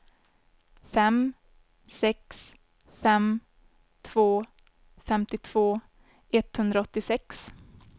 fem sex fem två femtiotvå etthundraåttiosex